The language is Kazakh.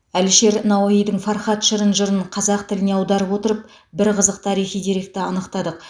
әлішер науаидің фархат шырын жырын қазақ тіліне аударып отырып бір қызық тарихи деректі анықтадық